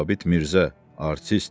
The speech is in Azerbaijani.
Sabit Mirzə, artist.